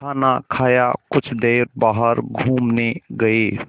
खाना खाया कुछ देर बाहर घूमने गए